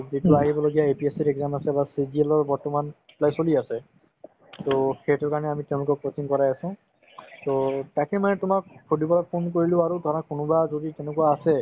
যিটো আহিবলগীয়া APSC ৰ exam আছে বা CGL ৰ বৰ্তমান apply চলি আছে to সেইটোৰ কাৰণে আমি তেওঁলোকক coaching কৰাই আছো to তাকে মানে তোমাক সুধিবলৈ phone কৰিলো আৰু ধৰা কোনোবা যদি তেনেকুৱা আছে